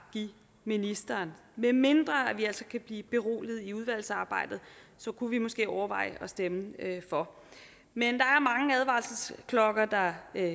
give ministeren medmindre vi altså kan blive beroliget i udvalgsarbejdet så kunne vi måske overveje at stemme for men der er